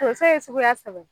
Tonso fɛn ye suguya saba ye.